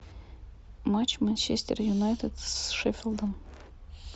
матч манчестер юнайтед с шеффилдом